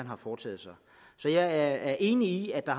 har foretaget sig så jeg er enig i at der